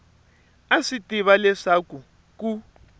a swi tiva leswaku ku